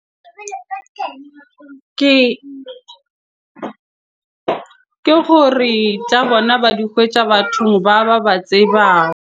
Ke gore tsa bona ba di kgwetja bathong ba, ba ba tseba .